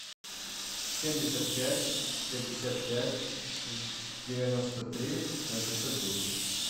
семьдесят пять пятьдесят пять девяносто три восемьсот десять